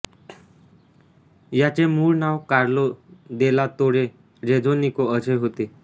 याचे मूळ नाव कार्लो देला तोरे रेझोनिको असे होते